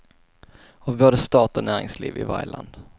Av både stat och näringsliv i varje land.